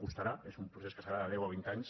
costarà és un procés que serà de deu o vint anys